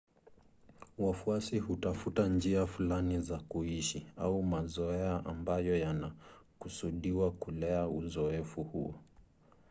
wafuasi hutafuta njia fulani za kuishi au mazoea ambayo yanakusudiwa kulea uzoefu huo